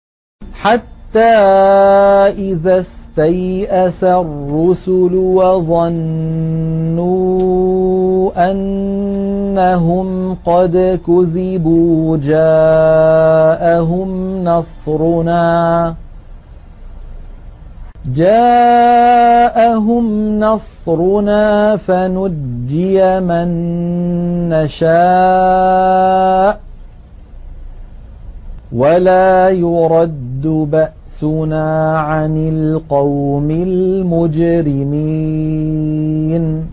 حَتَّىٰ إِذَا اسْتَيْأَسَ الرُّسُلُ وَظَنُّوا أَنَّهُمْ قَدْ كُذِبُوا جَاءَهُمْ نَصْرُنَا فَنُجِّيَ مَن نَّشَاءُ ۖ وَلَا يُرَدُّ بَأْسُنَا عَنِ الْقَوْمِ الْمُجْرِمِينَ